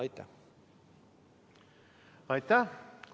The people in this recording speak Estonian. Aitäh!